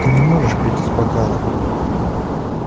ты не можешь пить из бокала